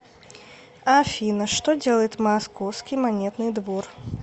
афина что делает московский монетный двор